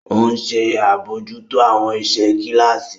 O nṣe abojuto awọn iṣẹ kilasi.